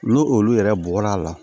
N'o olu yɛrɛ bɔr'a la